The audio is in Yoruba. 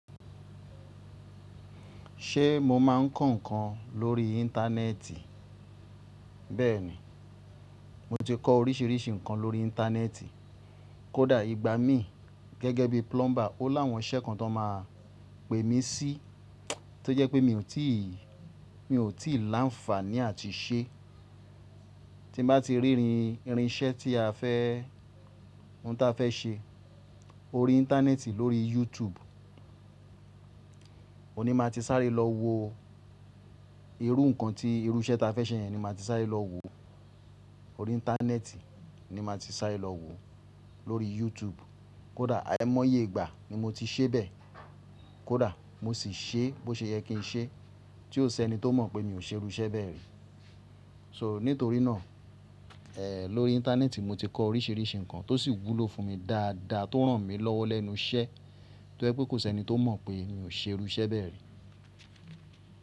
Ṣé mo máa ń kọ́ ǹkan lórí Íńtánẹ́ẹ̀tì? Bẹ́ẹ̀ni, mo ti kọ oríṣiríṣi ǹkan lórí Íńtánẹ́ẹ̀tì. Kódà ìgbà mí gẹ́gẹ́ bí plumber, ó láwọn iṣẹ́ kan tó máa pè mí sí tó jẹ́ pé mi ò tíì, mi ò tíì láǹfààní àti ṣe. Tí bá ti rí irin iṣẹ́ tí a fẹ́, ohun ta fẹ́ ṣe orí Íńtánẹ́ẹ̀tì lórí YouTube, òní máa ti sáré lọ wo irú ǹkan tí irú iṣẹ́ ta fẹ́ ṣe yẹn ni màá ti sáré lọ wòó orí Íńtánẹ́ẹ̀tì ni màá ti sáré lọ wòó lórí YouTube. Kódà àìmọye ìgbà ni mo ti ṣẹ bẹ. Kódà mo sì ṣe bó ṣe yẹ kí n ṣe tí ó sẹ́ni tó mọ̀ pé mi ò ṣe irú iṣẹ́ bẹ́ẹ̀ rí. So nítorí náà, ẹ́ lórí Íńtánẹ́ẹ̀tì mo ti kọ oríṣiríṣi ǹkan tó sì wúlò fún mi dáadáa tó ràn mí lọ́wọ́ lẹ́nu iṣẹ́ tó jẹ́ pé kò sẹ́ni tó mọ̀ pé mi ò ṣe irú iṣẹ́ bẹ́ẹ̀ rí.